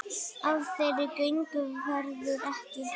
Af þeirri göngu verður ekki.